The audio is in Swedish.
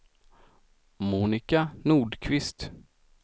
Monika Nordqvist